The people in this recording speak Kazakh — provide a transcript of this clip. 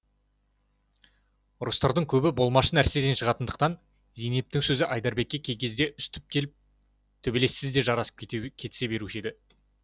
ұрыстарының көбі болмашы нәрседен шығатындықтан зейнептің сөзі айдарбекке кей кездерде үстіп келіп төбелессіз де жарасып кетісе беруші еді